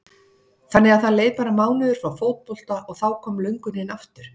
Þannig að það leið bara mánuður frá fótbolta og þá kom löngunin aftur?